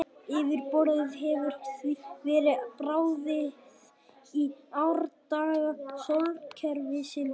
Yfirborðið hefur því verið bráðið í árdaga sólkerfisins.